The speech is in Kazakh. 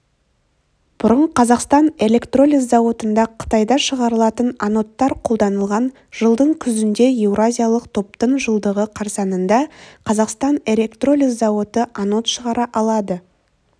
бұрын қазақстан электролиз зауытында қытайда шығарылатын анодтар қолданылған жылдың күзінде еуразиялық топтың жылдығы қарсаңында қазақстан электролиз зауыты анод шығара алады